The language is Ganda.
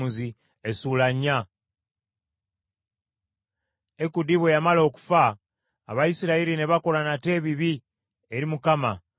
Ekudi bwe yamala okufa Abayisirayiri ne bakola nate ebibi eri Mukama .